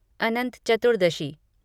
Anant Chaturdashi